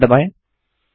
enter दबाएँ